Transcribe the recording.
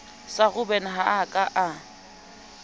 sa robben ha a ka